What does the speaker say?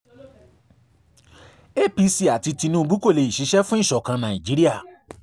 apc àti tinubu kò lè ṣiṣẹ́ fún ìṣọ̀kan nàìjíríà